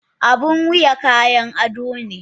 Abun wuya kayan ado ne